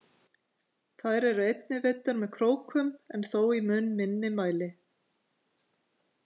Þær eru einnig veiddar með krókum en þó í mun minni mæli.